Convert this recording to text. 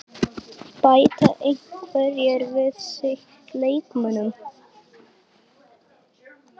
Bæta einhverjir við sig leikmönnum?